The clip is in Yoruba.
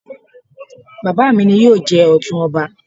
Bàbá mi ni yóò jẹ Ọ̀tún ọba